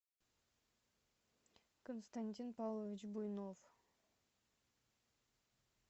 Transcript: константин павлович буйнов